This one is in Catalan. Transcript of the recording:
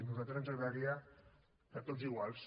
a nosaltres ens agradaria que tots iguals